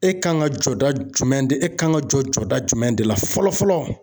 E kan ka jɔda jumɛn de e kan ka jɔ jɔda jumɛn de la fɔlɔ fɔlɔ ?